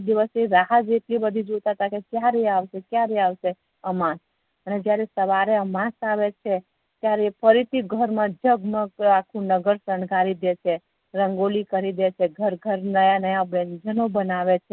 એ એ દિવસ ની રાહજ એટલી જોતા હતા કે ક્યારે આવસે આવસે અમાસ જયારે અમાસ આવે છે ત્યારે ફરીથી ઘર મા જગમગ જગમગ આખુ નાગર સણગારી દે છે રંગોલી કરીદે છે ઘર ઘર નવા-નવા વ્યંજનો બેનાવે છે